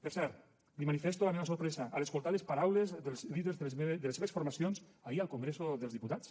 per cert li manifesto la meva sorpresa a l’escoltar les paraules dels líders de les seves formacions ahir al congreso dels diputats